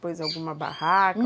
Pôs alguma barraca?